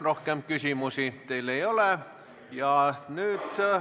Rohkem küsimusi teile ei ole.